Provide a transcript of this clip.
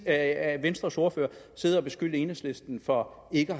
af venstres ordfører at sidde og beskylde enhedslisten for ikke